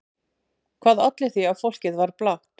Hvað olli því að fólkið var blátt?